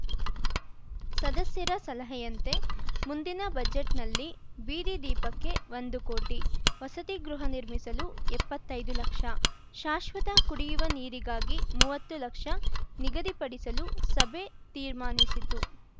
ಸದಸ್ಯರ ಸಲಹೆಯಂತೆ ಮುಂದಿನ ಬಜೆಟ್‌ನಲ್ಲಿ ಬೀದಿದೀಪಕ್ಕೆ ಒಂದು ಕೋಟಿ ವಸತಿ ಗೃಹ ನಿರ್ಮಿಸಲು ಎಪ್ಪತ್ತೈದು ಲಕ್ಷ ಶಾಶ್ವತ ಕುಡಿಯುವ ನೀರಿಗಾಗಿ ಮುವತ್ತು ಲಕ್ಷ ನಿಗದಿಪಡಿಸಲು ಸಭೆ ತೀರ್ಮಾನಿಸಿತು